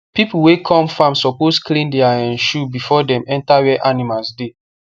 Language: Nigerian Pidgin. people wey come farm suppose clean their um shoe before dem enter where animals dey